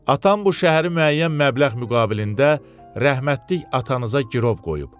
Atam bu şəhəri müəyyən məbləğ müqabilində rəhmətlik atanıza girov qoyub.